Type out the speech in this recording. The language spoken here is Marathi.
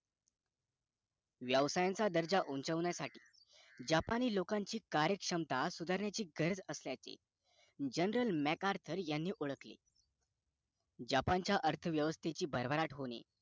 व्यवसायांचा दर्जा उंचावण्यासाठी जपानि लोकांची कार्य क्षमता सुधारण्याची गरज असल्याचे journal megadoll (assuming it's a term or name) यांनी ओळखले जपानच्या अर्थ व्यवस्तेची भरभराट होणे